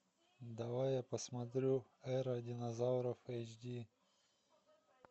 давай я посмотрю эра динозавров эйч ди